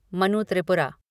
Manu Tripura